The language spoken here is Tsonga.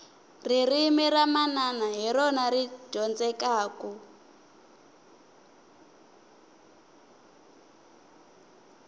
ririmi ra manana hi rona ri dyondzekaku